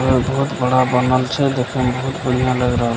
बहुत बड़ा बनल छै देखे मे बहुत बढ़िया लग रहल --